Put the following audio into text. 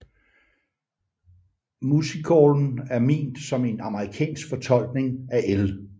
Musicallen er ment som en amerikansk fortolkning af L